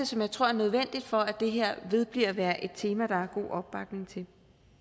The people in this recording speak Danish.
som jeg tror er nødvendig for at det her vedbliver med at være et tema der er god opbakning til